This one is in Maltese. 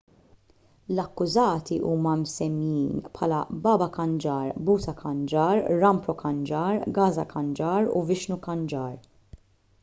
l-akkużati huma msemmijin bħala baba kanjar bhutha kanjar rampro kanjar gaza kanjar u vishnu kanjar